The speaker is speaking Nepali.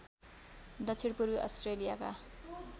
दक्षिण पूर्वी अस्ट्रेलियाका